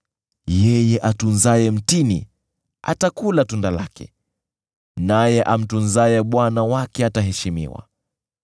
Yeye autunzaye mtini atakula tunda lake, naye amtunzaye bwana wake ataheshimiwa.